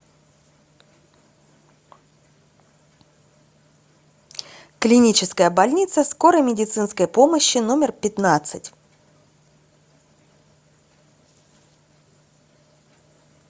клиническая больница скорой медицинской помощи номер пятнадцать